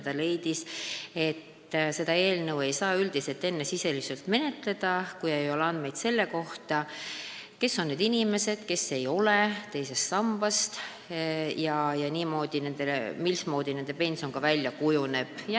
Ta leidis, et seda eelnõu ei saa enne sisuliselt menetleda, kui ei ole andmeid selle kohta, kes on need inimesed, kellel teist sammast ei ole, ja mismoodi nende pension välja kujuneb.